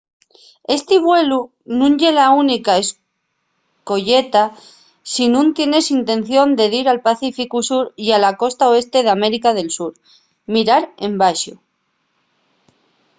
esti vuelu nun ye la única escoyeta si nun tienes intención de dir al pacíficu sur y a la costa oeste d’américa del sur. mirar embaxo